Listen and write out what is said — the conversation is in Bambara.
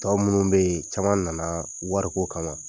Tɔ minnu bɛ yen, caman nana wari ko kama.